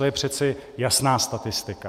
To je přeci jasná statistika.